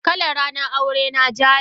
Kalar ranar aure na ja ne.